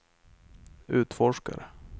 utforskare